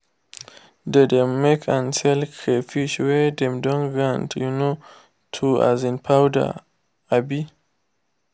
they dem make and sell crayfish wey dem don grind um to um powder. um